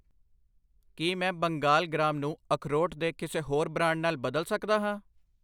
ਕੀ ਮੈਂ ਬੰਗਾਲ ਗ੍ਰਾਮ ਨੂੰ ਅਖਰੋਟ ਦੇ ਕਿਸੇ ਹੋਰ ਬ੍ਰਾਂਡ ਨਾਲ ਬਦਲ ਸਕਦਾ ਹਾਂ?